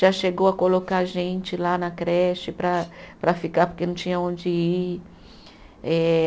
Já chegou a colocar gente lá na creche para para ficar porque não tinha onde ir. Eh